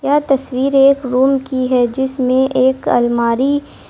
यह तस्वीर एक रूम की है जिसमें एक अलमारी--